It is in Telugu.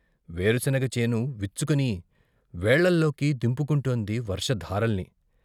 వేరుశనగ చేను విచ్చుకుని వేళ్ళలోకి దింపుకుంటోంది వర్షధారల్ని.